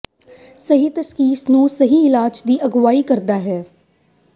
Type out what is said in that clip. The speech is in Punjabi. ਸਹੀ ਤਸ਼ਖੀਸ ਨੂੰ ਸਹੀ ਇਲਾਜ ਦੀ ਅਗਵਾਈ ਕਰਦਾ ਹੈ